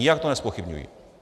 Nijak to nezpochybňuji.